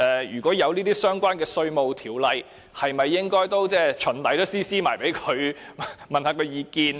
如果有相關的稅務的條例，是否應該循例把副本交送給他們，詢問他們的意見？